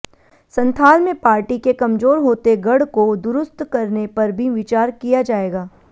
संथाल में पार्टी के कमजोर होते गढ़ को दुरुस्त करने पर भी विचार किया जाएगा